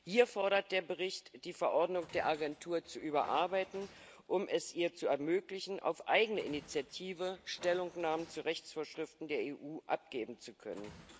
Hier fordert der Bericht, die Verordnung der Agentur zu überarbeiten, um es ihr zu ermöglichen, auf eigene Initiative Stellungnahmen zu Rechtsvorschriften der EU abgeben zu können.